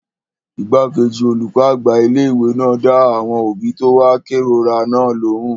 Igbákejì olùkọ́ àgbà ilé-ìwé náà dá àwọn òbí tó wá kérora náà lóhùn